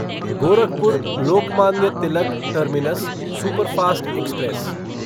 Gorakhpur Lokmanya Tilak terminus superfast express